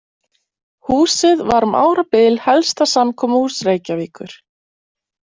Húsið var um árabið helsta samkomuhús Reykjavíkur.